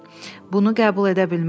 Bunu qəbul edə bilmərəm.